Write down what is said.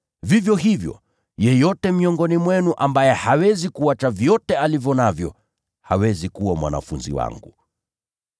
Vivyo hivyo, yeyote miongoni mwenu ambaye hawezi kuacha vyote alivyo navyo, hawezi kuwa mwanafunzi wangu.